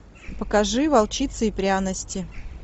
покажи волчица и пряности